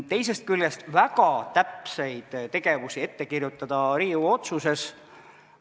Teisest küljest, kui väga täpseid tegevusi ette kirjutada Riigikogu otsuses ...